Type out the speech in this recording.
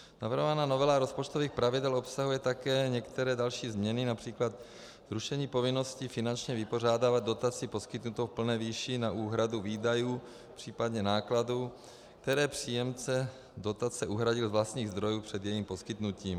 Navrhovaná novela rozpočtových pravidel obsahuje také některé další změny, například rušení povinnosti finančně vypořádávat dotaci poskytnutou v plné výši na úhradu výdajů, případně nákladů, které příjemce dotace uhradil z vlastních zdrojů před jejím poskytnutím.